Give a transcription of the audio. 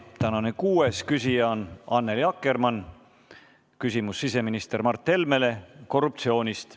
Tänane kuues küsija on Annely Akkermann, küsimus on siseminister Mart Helmele korruptsiooni kohta.